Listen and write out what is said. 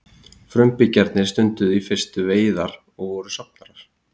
frumbyggjarnir stunduðu í fyrstu veiðar og voru safnarar